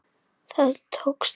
Það tókst vel.